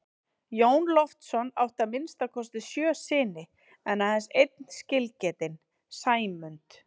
Jón Loftsson átti að minnsta kosti sjö syni en aðeins einn skilgetinn, Sæmund.